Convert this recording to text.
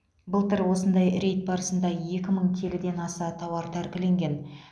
былтыр осындай рейд барысында екі мың келіден аса тауар тәркіленген